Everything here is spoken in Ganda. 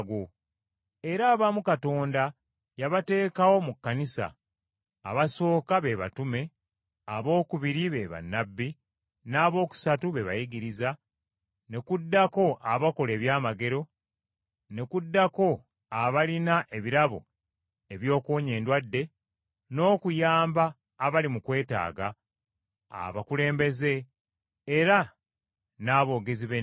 Era abamu Katonda yabateekawo mu kkanisa: abasooka be batume, abookubiri be bannabbi, n’abookusatu be bayigiriza, ne kuddako abakola eby’amagero, ne kuddako abalina ebirabo eby’okuwonya endwadde, n’okuyamba abali mu kwetaaga, abakulembeze, era n’aboogezi b’ennimi.